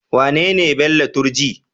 Wanene Bello Turji?